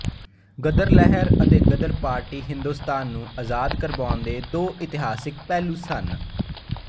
ਗ਼ਦਰ ਲਹਿਰ ਅਤੇ ਗ਼ਦਰ ਪਾਰਟੀ ਹਿੰਦੁਸਤਾਨ ਨੂੰ ਅਜ਼ਾਦ ਕਰਵਾਉਣ ਦੇ ਦੋ ਇਤਿਹਾਸਿਕ ਪਹਿਲੂ ਸਨ